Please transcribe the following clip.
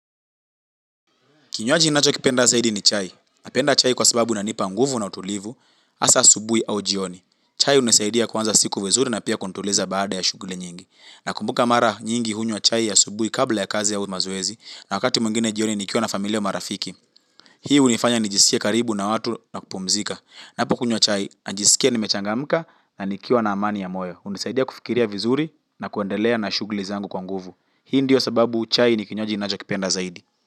Kinywaji ninacho kipenda zaidi ni chai. Napenda chai kwa sababu inanipa nguvu na utulivu, hasa asubuhi au jioni. Chai hunisaidia kuanza siku vizuri na pia kunituliza baada ya shughuli nyingi. Nakumbuka mara nyingi hunywa chai ya asubuhi kabla ya kazi au mazoezi, na wakati mwingine jioni nikiwa na familia au marafiki. Hii hunifanya nijisikie karibu na watu na kupumzika. Ninapokunywa kunywa chai, najiskia nimechangamka na nikiwa na amani ya moyo hunisaidia kufikiria vizuri na kuendelea na shuguli zangu kwa nguvu. Hii ndio sababu chai ni kinywaji ninacho kipenda zaidi.